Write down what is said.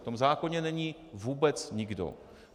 V tom zákoně není vůbec nikdo.